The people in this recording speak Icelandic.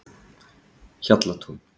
Hjallatúni